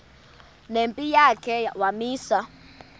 nempi yakhe wamisa